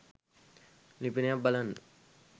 ලිපියනයක් බලන්න